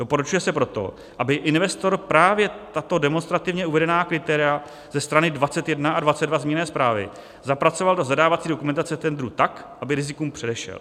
Doporučuje se proto, aby investor právě tato demonstrativně uvedená kritéria ze strany 21 a 22 zmíněné zprávy zapracoval do zadávací dokumentace tendru tak, aby rizikům předešel.